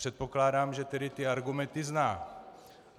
Předpokládám, že tedy ty argumenty zná.